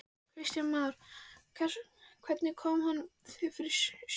Kristján Már: Hvernig kom hann þér fyrir sjónir?